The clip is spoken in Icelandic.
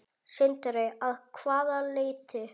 Sindri: Að hvaða leyti?